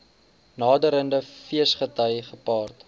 naderende feesgety gepaard